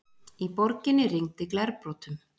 Í borginni rigndi glerbrotum